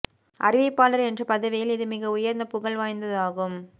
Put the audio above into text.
அறிவிப்பாளர் என்ற பதவியில் இது மிக உயர்ந்த புகழ் வாய்ந்ததாகும்